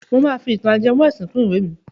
Máa fi ìtàn ajẹmọ́ ẹ̀sìn kún ìwẹ́ mi.